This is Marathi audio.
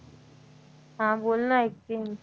हा बोल ना ऐकतेय मी